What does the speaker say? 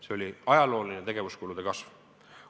See oli ajalooline tegevuskulude kasv.